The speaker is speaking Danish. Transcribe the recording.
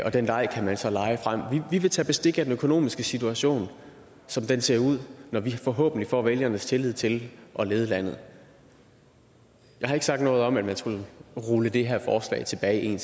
den leg kan man så lege vi vil tage bestik af den økonomiske situation som den ser ud når vi forhåbentlig får vælgernes tillid til at lede landet jeg har ikke sagt noget om at man skulle rulle det her forslag tilbage 11